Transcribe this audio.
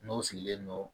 N'o sigilen don